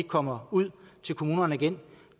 kommer ud til kommunerne igen